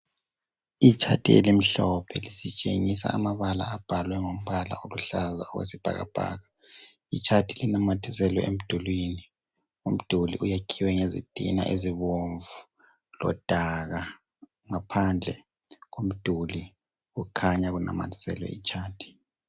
Itshathi elimhlophe litshengisa amabala abhalwe ngompala oluhlaza oyisibhakabhaka. Itshathi linamathiselwe emdulwini. Umduli uyakhiwe ngezitina ezibomvu lodaka ngaphandle umduli kukhanya kunamathiselwe itshathi.